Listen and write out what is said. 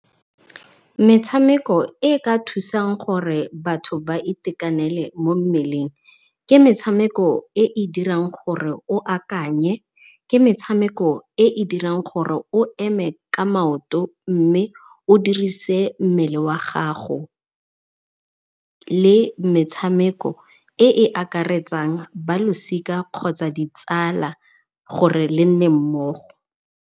Metshameko e e ka thusang gore batho ba itekanele mo mmeleng ke metshameko e e dirang gore o akanye, ke metshameko e e dirang gore o eme ka maoto mme o dirise mmele wa gago le metshameko e e akaretsang ba losika kgotsa ditsala gore le nne mmogo.